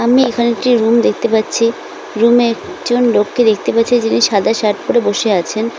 আমি এখানে একটি রুম দেখতে পাচ্ছি রুম এ একজন লোককে দেখতে পাচ্ছি যিনি সাদা শার্ট পরে বসে আছেন।